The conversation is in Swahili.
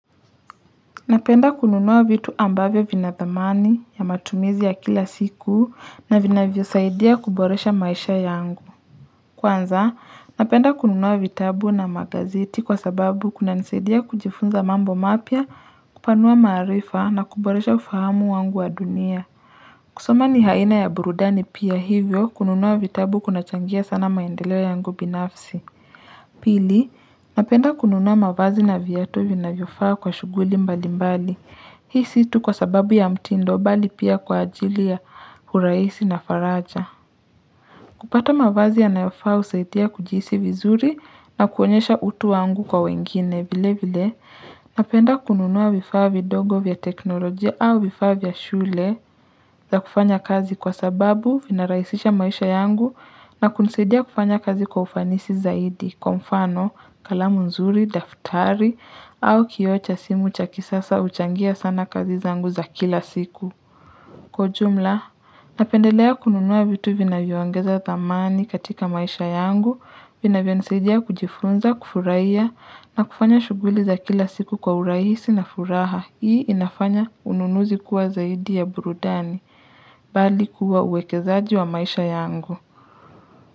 Napenda kununua vitu ambavyo vina thamani ya matumizi ya kila siku na vinavyosaidia kuboresha maisha yangu. Kwanza, napenda kununua vitabu na magazeti kwa sababu kunanisaidia kujifunza mambo mapya, kupanua maarifa na kuboresha ufahamu wangu wa dunia. Kusoma ni haina ya burudani pia hivyo kununua vitabu kunachangia sana maendeleo yangu binafsi. Pili, napenda kununua mavazi na viatu vinavyofaa kwa shughuli mbali mbali. Hii si tu kwa sababu ya mtindo bali pia kwa ajili ya urahisi na faraja. Kupata mavazi yanayofaa husaidia kujisi vizuri na kuonyesha utu wangu kwa wengine vile vile, napenda kununua vifaa vidogo vya teknolojia au vifaa vya shule za kufanya kazi kwa sababu vinarahisisha maisha yangu na kunisaidia kufanya kazi kwa ufanisi zaidi, kwa mfano, kalamu nzuri, daftari au kioo cha simu cha kisasa huchangia sana kazi zangu za kila siku. Kwa ujumla, napendelea kununua vitu vinavyo ongeza thamani katika maisha yangu, vinavyo nisaidia kujifunza, kufurahia, na kufanya shughuli za kila siku kwa urahisi na furaha. Hii inafanya ununuzi kuwa zaidi ya burudani, bali kuwa uwekezaaji wa maisha yangu.